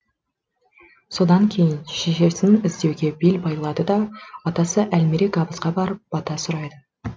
содан кейін шешесін іздеуге бел байлайды да атасы әлмерек абызға барып бата сұрайды